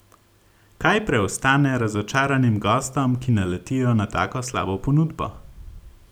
Kaj preostane razočaranim gostom, ki naletijo na tako slabo ponudbo?